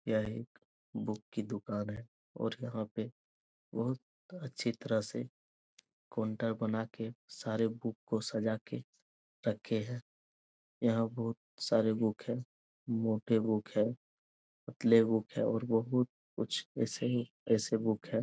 यह एक बुक की दूकान है और यहाँ पे बहुत अच्छी तरह से काउंटर बना के सारे बुक को सजा के रखे हैं। यहाँ बहुत सारे बुक हैं। मोटे बुक हैं। पतले बुक हैं। और बहुत कुछ ऐसे ही ऐसे बुक हैं।